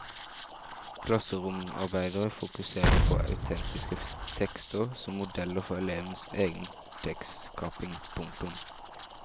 Klasseromsarbeidet fokuserer på autentiske tekster som modeller for elevenes egen tekstskaping. punktum